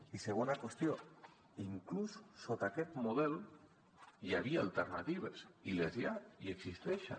i segona qüestió inclús dins aquest model hi havia alternatives i n’hi ha i existeixen